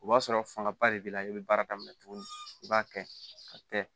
O b'a sɔrɔ fangaba de b'i la i bɛ baara daminɛ tuguni i b'a kɛ ka kɛ